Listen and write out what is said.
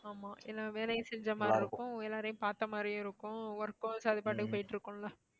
ஆமா எல்லா வேலையும் செஞ்ச மாதிரி இருக்கும் எல்லாரையும் பார்த்த மாதிரியும் இருக்கும் work அது பாட்டுக்கு போயிட்டு இருக்கும்ல